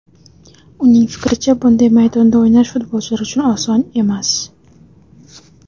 Uning fikricha, bunday maydonda o‘ynash futbolchilar uchun oson emas.